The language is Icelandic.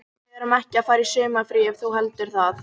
Við erum ekki að fara í sumarfrí ef þú heldur það.